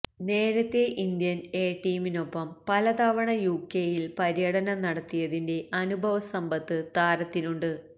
നേരത്തേ Indian A ടീമിനൊപ്പം പല തവണ യുകെയില് പര്യടനം നടത്തിയതിന്റെ അനുഭവസമ്പത്ത് താരത്തിനുണ്ട്